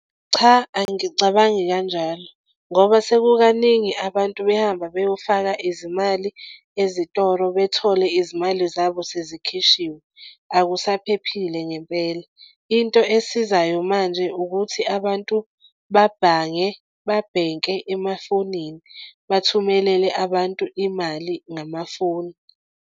Cha, angicabangi kanjalo ngoba sekukaningi abantu behamba beyofaka izimali ezitolo bethole izimali zabo sezikhishiwe. Akusaphephile ngempela into esizayo manje ukuthi abantu babhange, babhenke emafonini, bathumelele abantu imali ngamafoni.